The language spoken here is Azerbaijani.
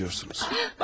Qan kaybediyorsunuz.